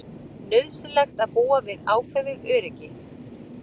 Nauðsynlegt að búa við ákveðið óöryggi